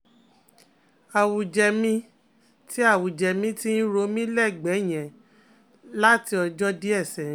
awuje mi ti awuje mi ti n ro mi l'ẹgbẹ yẹn lati ọjọ diẹ sẹyin